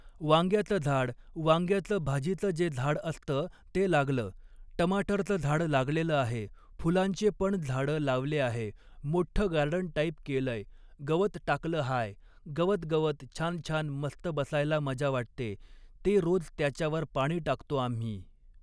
वांग्याचं झाड वांग्याचं भाजीचं जे झाड असतं ते लागलं, टमाटरचं झाड लागलेलं आहे, फुलांचे पण झाडं लावले आहे, मोठ्ठं गार्डन टाईप केलंय, गवत टाकलं हाय, गवतगवत छानछान मस्त बसायला मजा वाटते, ते रोज त्याच्यावर पाणी टाकतो आम्ही